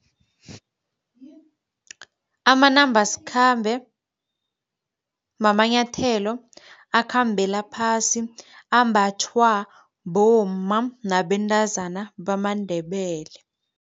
Amanambasikhambe mamanyathelo akhambela phasi, ambathwa bomma nabentazana bamaNdebele.